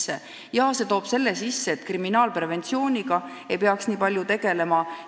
See toob raha sisse tänu sellele, et kriminaalpreventsiooniga ei pea nii palju tegelema.